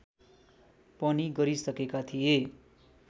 पनि गरिसकेका थिए